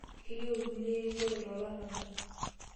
Keyieu irkulie erikore tolarabal.